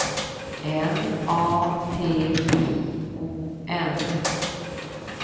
N A T I O N